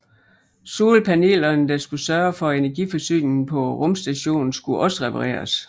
Solpanelerne der skulle sørge for energiforsyningen på rumstationen skulle også repareres